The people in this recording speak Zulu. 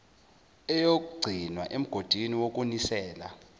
eyogcinwa emgodini wokunisela